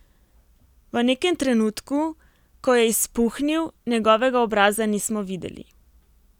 V nekem trenutku, ko je izpuhnil, njegovega obraza nismo videli.